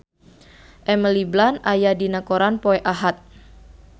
Emily Blunt aya dina koran poe Ahad